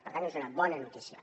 per tant és una bona notícia